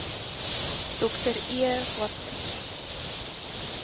dr e watson